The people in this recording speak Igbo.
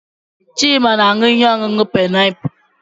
Chima na-aṅụ ihe ọṅụṅụ painiapulu.